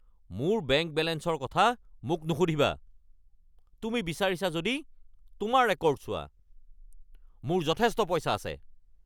মোৰ বেংক বেলেঞ্চৰ কথা মোক নুসুধিবা। তুমি বিচাৰিছা যদি তোমাৰ ৰেকৰ্ড চোৱা। মোৰ যথেষ্ট পইচা আছে।